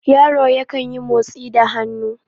yaro yankan yi motsi da hannu